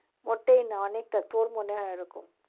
মোটেই না অনেকটা, তোর মনে হয় এরকম।